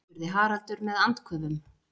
spurði Haraldur með andköfum.